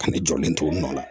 Ka ne jɔlen to n na